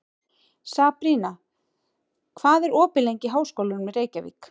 Sabrína, hvað er opið lengi í Háskólanum í Reykjavík?